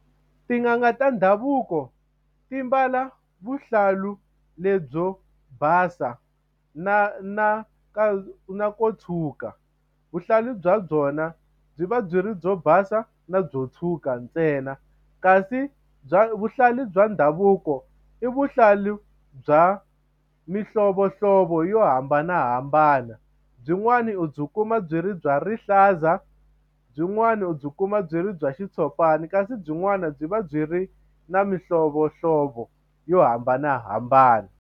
Tin'anga ta ndhavuko ti mbala vuhlalu lebyo basa na na na na ko tshwuka vuhlalu bya byona byi va byi ri byo basa na byo tshwuka ntsena kasi bya vuhlalu bya ndhavuko i vuhlalu bya mihlovohlovo yo hambanahambana byinwani u byi kuma byi ri bya rihlaza byinwani u byi kuma byi ri bya xitshopani kasi byin'wana byi va byi ri na mihlovohlovo yo hambanahambana.